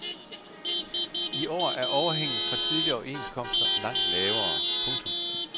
I år er overhænget fra tidligere overenskomster langt lavere. punktum